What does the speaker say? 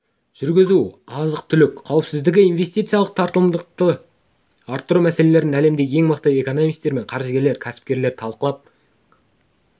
жүргізу азық-түлік қауіпсіздігі инвестициялық тартымдылықты арттыру мәселелерін әлемдегі ең мықты экономистер мен қаржыгерлер кәсіпкерлер талқылап